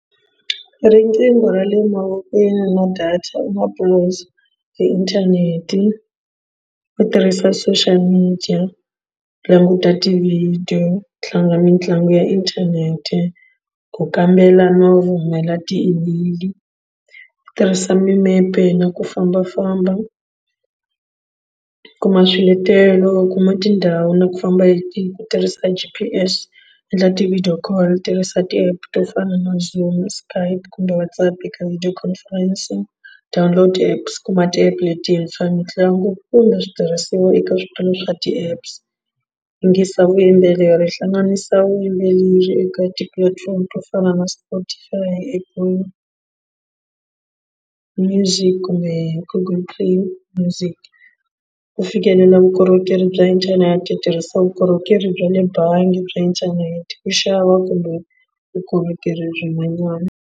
Riqingho ra le mavokweni na data u inthanete u tirhisa social media download tivhidiyo tlanga mitlangu ya inthanete ku kambela no rhumela ti-email tirhisa mimepe na ku fambafamba kuma swiletelo u kuma tindhawu na ku famba hi ku tirhisa g_p_s endla ti-video call tirhisa ti-app to fana na zoom skype kumbe WhatsApp eka video conference download apps kuma ti-app letintshwa mitlangu kumbe switirhisiwa eka switolo swa ti-apps yingisela vuyimbeleri hlanganisa vuyimbeleri eka tipulatifomo to fana na spotify apple music kumbe google music ku fikelela vukorhokeri bya inthanete hi tirhisa vukorhokeri bya le bangi bya inthanete ku xava kumbe vukorhokeri byin'wanyana.